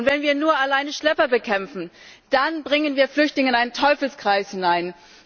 Und wenn wir nur alleine Schlepper bekämpfen, dann bringen wir Flüchtlinge in einen Teufelskreis hinein.